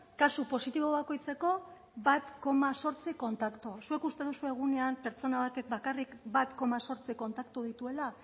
kasu positibo bakoitzeko bat koma zortzi kontaktu zuek uste duzue egunean pertsona batek bakarrik bat koma zortzi kontaktu dituela